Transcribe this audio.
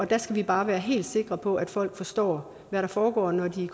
der skal vi bare være helt sikre på at folk forstår hvad der foregår når de